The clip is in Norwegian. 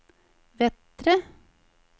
Vettre